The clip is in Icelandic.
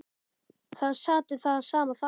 Það sat við það sama þar.